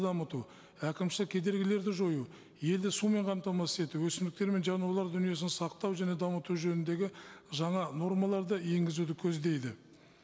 дамыту әкімшілік кедергілерді жою елді сумен қамтамасыз ету өсімдіктер мен жануарлар дүниесін сақтау және дамыту жөніндегі жаңа нормаларды енгізуді көздейді